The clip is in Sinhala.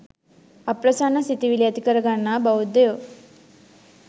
අප්‍රසන්න සිතිවිලි ඇති කරගන්නා බෞද්ධයෝ